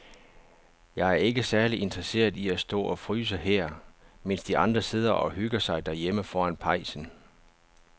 Jeg er ikke særlig interesseret i at stå og fryse her, mens de andre sidder og hygger sig derhjemme foran pejsen.